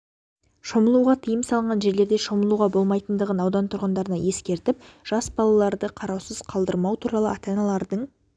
шомылуға тыйым салынған жерлерде шомылуға бомайтындығын аудан тұрғындарына ескертіп жас балдарды қараусыз қалдырмау туралы ата-аналардың